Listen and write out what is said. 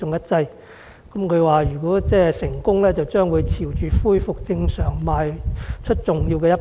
他指出，如果成功，將會朝着恢復正常邁出重要的一步。